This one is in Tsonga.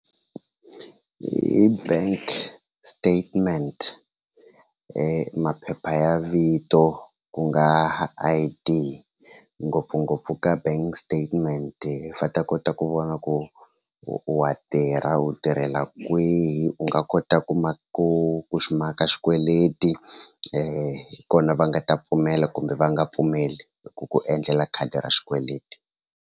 Hi bank statement maphepha ya vito ku nga I_D ngopfungopfu ka bank statement va ta kota ku vona ku wa tirha u tirhela kwihi u nga kota ku ma ku xi maka xikweleti hi kona va nga ta pfumela kumbe va nga pfumeli ku ku endlela khadi ra xikweleti.